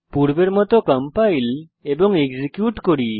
পূর্বের মত কম্পাইল এবং এক্সিকিউট করুন